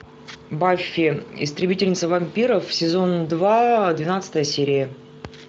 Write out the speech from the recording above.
баффи истребительница вампиров сезон два двенадцатая серия